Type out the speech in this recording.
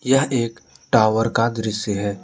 यह एक टावर का दृश्य है।